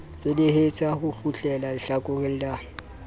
felehetsa ho kgutleha hlakoreng la